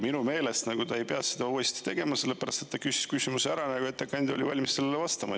Minu meelest ta ei pea seda uuesti tegema, sellepärast et ta küsis küsimuse ära ja ettekandja oli valmis sellele vastama.